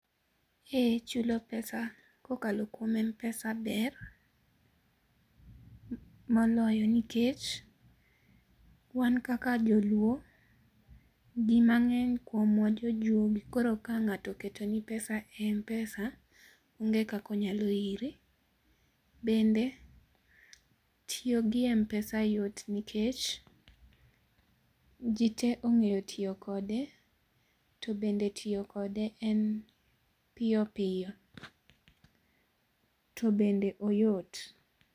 Ee chulo pesa kokalo kuom m-pesa ber moloyo nikech wan kaka joluo, ji mang'eny kuomwa jojuogi koro ka ng'ato oketoni pesa e m-pesa, onge kaka onyalo iri. Bende tiyo gi m-pesa yot nikech ji te ong'eyo tiyo kode, to bende tiyo kode en piyo piyo, to bende oyot.